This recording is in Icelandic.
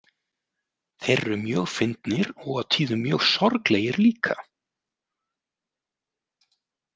Þeir eru mjög fyndnir og á tíðum mjög sorglegir líka.